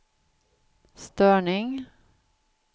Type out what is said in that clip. störning